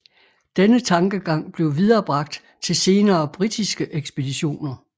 Denne tankegang blev viderebragt til senere britiske ekspeditioner